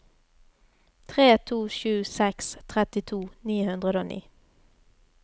tre to sju seks trettito ni hundre og ni